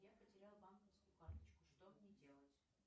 я потерял банковскую карточку что мне делать